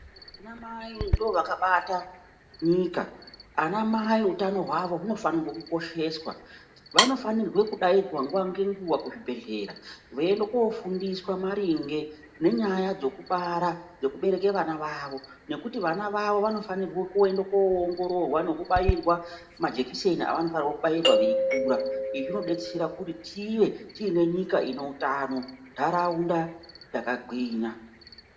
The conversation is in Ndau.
Ana mai ndivo vakabata nyika. Ana mai utano hwavo hunofane kukosheswa. Vanofane kudaidzwa nguwa ngenguwa kuzvibhehlera voende kofundiswa maringe nenyaya dzokubara, dzokubereke vana vavo nekuti vana vavo vanofanire kuende koongororwa nekubairwa majekiseni avanofana kubairwa veikura. Izvi zvinodetsera kuti tive tiine nyika ine utano nentaraunda yakagwinya.